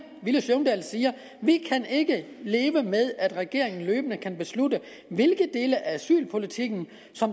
vi kan ikke leve med at regeringen løbende kan beslutte hvilke dele af asylpolitikken